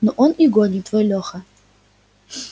ну он и гонит твой леха